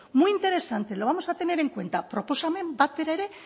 muy interesante lo vamos a tener en cuenta proposamen bat bera ere